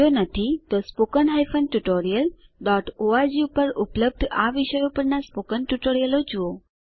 જો નથી તો spoken hyphen tutorial dot org પર ઉપલબ્ધ આ વિષયો પરનાં સ્પોકન ટ્યુટોરીયલ જુઓ